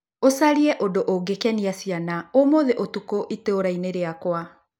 ũcarie ũndũ ungĩkenia ciana ũmũthĩ Ũtukũ itũũra-inĩ rĩakwa